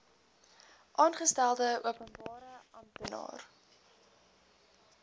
aangestelde openbare amptenaar